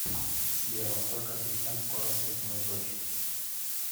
сбер во сколько ассистент скоро съест мою дочь